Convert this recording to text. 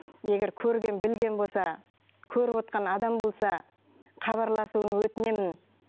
егер көрген білген болса көрівотқан адам болса хабарласуын өтінемін